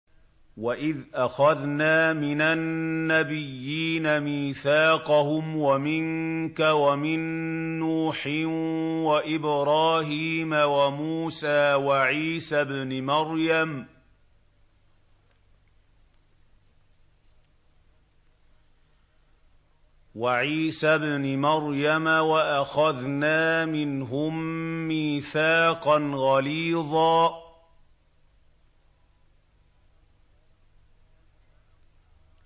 وَإِذْ أَخَذْنَا مِنَ النَّبِيِّينَ مِيثَاقَهُمْ وَمِنكَ وَمِن نُّوحٍ وَإِبْرَاهِيمَ وَمُوسَىٰ وَعِيسَى ابْنِ مَرْيَمَ ۖ وَأَخَذْنَا مِنْهُم مِّيثَاقًا غَلِيظًا